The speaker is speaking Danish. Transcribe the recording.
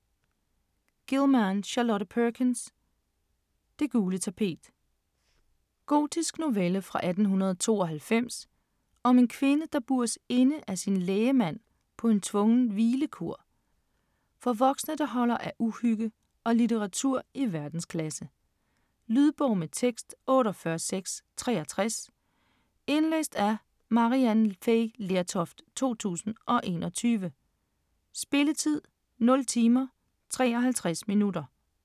Gilman, Charlotte Perkins: Det gule tapet Gotisk novelle fra 1892 om en kvinde, der bures inde af sin lægemand på en tvungen "hvilekur". For voksne, der holder af uhygge og litteratur i verdensklasse. Lydbog med tekst 48663 Indlæst af Maryann Fay Lertoft, 2021. Spilletid: 0 timer, 53 minutter.